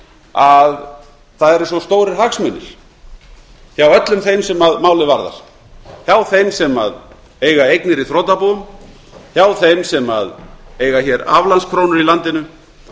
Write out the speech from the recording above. að það eru svo stórir hagsmunir hjá öllum þeim sem málið varðar hjá þeim sem eiga eignir í þrotabúum hjá þeim sem eiga hér aflandskrónur í landinu